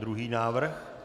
Třetí návrh.